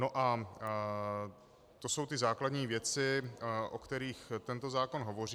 No, a to jsou ty základní věci, o kterých tento zákon hovoří.